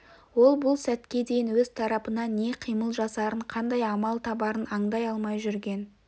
ол бұл сәтке дейін өз тарапынан не қимыл жасарын қандай амал табарын аңдай алмай жүрген